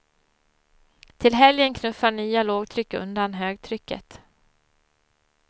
Till helgen knuffar nya lågtryck undan högtrycket.